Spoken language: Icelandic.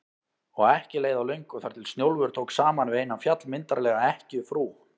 Og ekki leið á löngu þar til Snjólfur tók saman við eina, fjallmyndarlega ekkjufrú